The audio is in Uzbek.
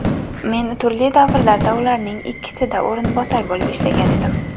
Men turli davrlarda ularning ikkisida o‘rinbosar bo‘lib ishlagan edim.